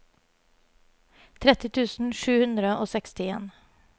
tretti tusen sju hundre og sekstien